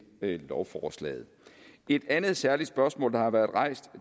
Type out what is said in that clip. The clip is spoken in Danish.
lovforslaget et andet særligt spørgsmål der har været rejst